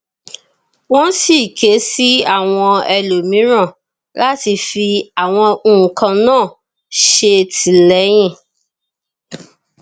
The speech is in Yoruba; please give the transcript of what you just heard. wọn sì ké sí àwọn ẹlòmíràn láti fi àwọn nǹkan náà ṣètìlẹyìn